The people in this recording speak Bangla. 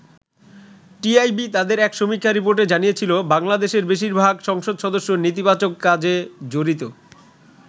টিআইবি তাদের এক সমীক্ষা রিপোর্টে জানিয়েছিল, বাংলাদেশের বেশির ভাগ সংসদ সদস্য নেতিবাচক কাজে জড়িত।